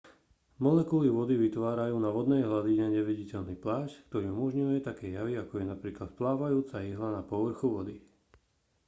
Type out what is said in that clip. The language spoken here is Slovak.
molekuly vody vytvárajú na vodnej hladine neviditeľný plášť ktorý umožňuje také javy ako je napríklad plávajúca ihla na povrchu vody